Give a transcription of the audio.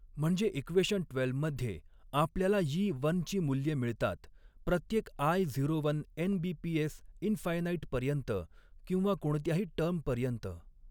म्हणजे equation twelve मध्ये आपल्याला यी वनची मूल्ये मिळतात प्रत्येक आय झीरो वन एन.बी.पी.एस. इनफ़ायनाईट पर्यंत किंवा कोणत्याही टर्मपर्यंत.